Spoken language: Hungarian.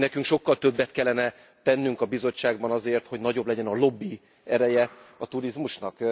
Hogy nekünk sokkal többet kellene tennünk a bizottságban azért, hogy nagyobb legyen a lobbi ereje a turizmusnak?